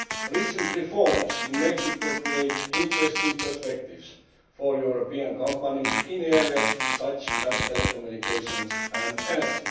Recent reforms in Mexico have created interesting perspectives for European companies in areas such as telecommunications and energy.